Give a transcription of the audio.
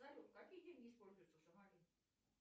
салют какие деньги используются в сомали